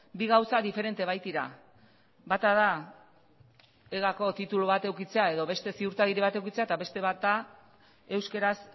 bi gauza diferente baitira bata da egako titulu bat edukitzea edo beste ziurtagiri bat edukitzea eta beste bat da euskaraz